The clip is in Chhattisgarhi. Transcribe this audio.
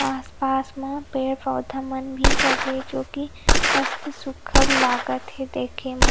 आस-पास में पेड़-पौधा मन भी लगे हे जोकि मस्त सुग्घर लागत हे देखे म--